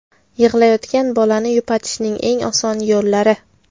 Yig‘layotgan bolani yupatishning eng oson yo‘llari.